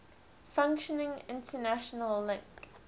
functioning international link